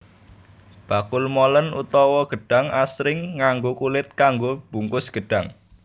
Bakul molen utawa gedhang asring nganggo kulit kanggo bungkus gedhang